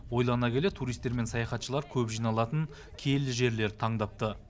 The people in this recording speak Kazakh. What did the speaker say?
ойлана келе туристер мен саяхатшылар көп жиналатын киелі жерлерді таңдапты